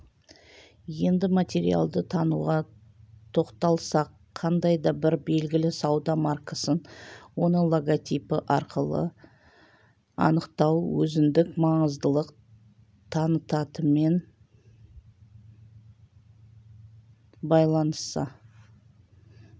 енді материалды тануға тоқталсақ қандай да бір белгілі сауда маркасын оның логотипі арқылы анықтау өзіндік маңыздылық танытатынымен байланысса